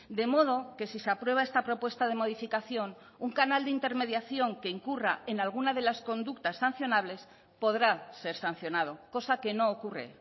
de modo que si se aprueba esta propuesta de modificación un canal de intermediación que incurra en alguna de las conductas sancionables podrá ser sancionado cosa que no ocurre